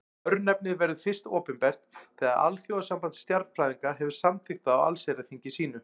Örnefnið verður fyrst opinbert þegar Alþjóðasamband stjarnfræðinga hefur samþykkt það á allsherjarþingi sínu.